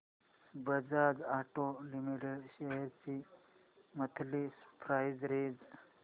Bajaj auto limited shares ची monthly price range